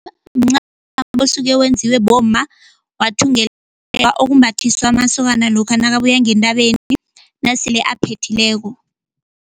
Mncamo osuke wenziwe bomma wathungelelwa ukumbathisa amasokana lokha nakabuya ngentabeni nasele aphethileko.